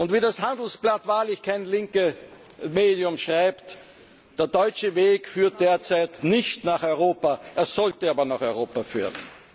Wie das Handelsblatt wahrlich kein linkes Medium schreibt Der deutsche Weg führt derzeit nicht nach Europa, er sollte aber nach Europa führen!